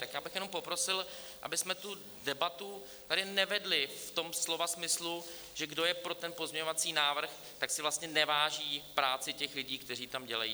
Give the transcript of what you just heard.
Tak já bych jenom poprosil, abychom tu debatu tady nevedli v tom slova smyslu, že kdo je pro ten pozměňovací návrh, tak si vlastně neváží práce těch lidí, kteří tam dělají.